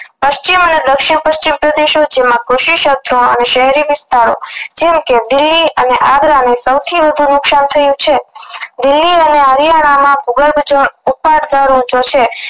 પશ્ચિમ અને દક્ષિણ પશ્ચિમ પ્રદેશો જેમાં કુશી ક્ષેત્રો અને શહેરી વિસ્તારો જેમ કે દિલ્હી અને આગ્રા ને સૌથી વધુ નુકશાન થયું છે દિલ્લી અને હરિયાણા માં ભૂગર્ભજળ છે